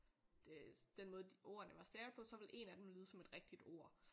Det den måde ordene var stavet på så ville én af dem lyde som et rigtigt ord